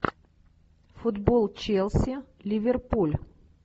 футбол челси ливерпуль